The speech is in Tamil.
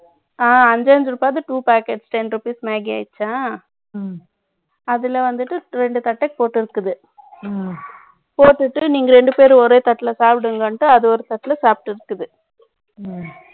ஆ, two packet ten rupees magy ஆயிடுச்சா? ம்ம். அதுல வந்துட்டு, இரண்டு தட்டை போட்டிருக்குது. ம்ம். போட்டுட்டு, நீங்க இரண்டு பேரும், ஒரே தட்டுல சாப்பிடுவீங்களான்னுட்டு, அதை ஒரு தட்டுல சாப்பிட்டு இருக்குது.